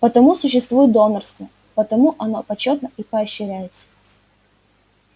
потому существует донорство потому оно почётно и поощряется